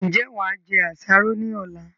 Ń jẹ́ wá jẹ àsáró ni ọ̀la?